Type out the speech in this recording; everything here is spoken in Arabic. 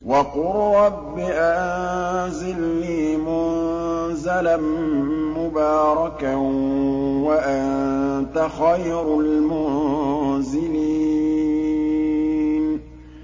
وَقُل رَّبِّ أَنزِلْنِي مُنزَلًا مُّبَارَكًا وَأَنتَ خَيْرُ الْمُنزِلِينَ